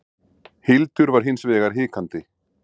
Hildur var hins vegar hikandi.